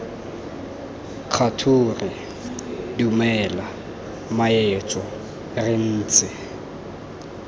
kgature dumela mmaetsho re ntse